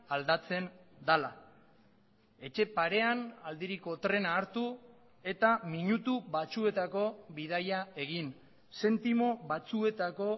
aldatzen dela etxe parean aldiriko trena hartu eta minutu batzuetako bidaia egin zentimo batzuetako